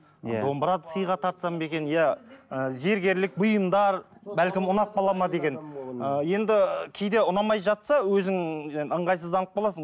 иә домбыра сыйға тартсам ба екен иә ыыы зергерлік бұйымдар бәлкім ұнап қала ма деген енді кейде ұнамай жатса өзің енді ыңғайсызданып қаласың